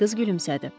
Qız gülümsədi.